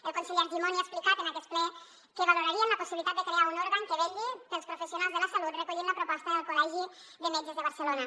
el conseller argimon ja ha explicat en aquest ple que valorarien la possibilitat de crear un òrgan que vetlli pels professionals de la salut recollint la proposta del col·legi de metges de barcelona